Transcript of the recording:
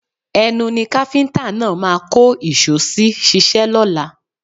Ẹnu ni káfíńtà náà máa kó ìṣó sí ṣíṣe lọ́la